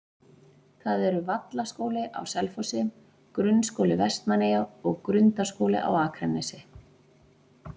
Það eru Vallaskóli á Selfossi, Grunnskóli Vestmannaeyja og Grundaskóli á Akranesi.